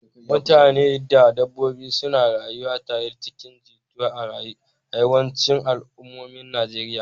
Mutane da dabbobi suna rayuwa tare cikin jituwa a yawancin al'ummomin Najeriya.